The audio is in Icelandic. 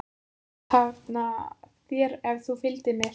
Hann sagðist hafna þér ef þú fylgdir mér.